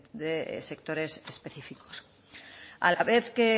de sectores específicos a la vez que